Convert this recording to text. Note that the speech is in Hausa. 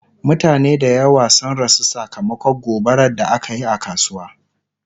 mutane da yawa sun rasu sakamakon gobarar da akayi a kasuwa